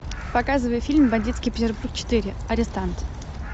показывай фильм бандитский петербург четыре арестант